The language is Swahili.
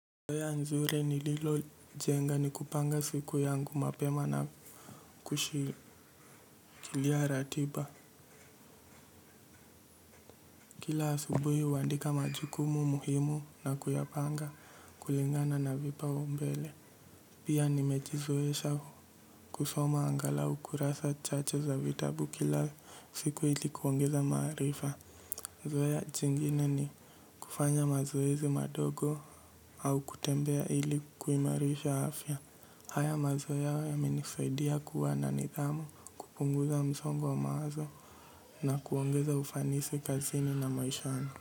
Zoya nzuri nililo jenga ni kupanga siku yangu mapema na kushikilia ratiba. Kila asubuhu huandika majukumu muhimu na kuyapanga kulingana na vipaumbele. Pia nimejizoesha kusoma angalau ukurasa chache za vitabu kila siku hili kuongeza maarifa. Zoea jingine ni kufanya mazoezi madogo au kutembea ili kuimarisha afya. Haya mazoea yamenisaidia kuwa na nidhamu kupunguza msongo wa mawazo na kuongeza ufanisi kazini na maisha yangu.